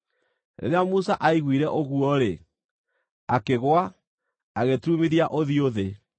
Rĩrĩa Musa aiguire ũguo-rĩ, akĩgũa, agĩturumithia ũthiũ thĩ.